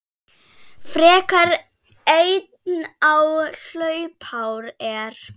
frekar einn þá hlaupár er.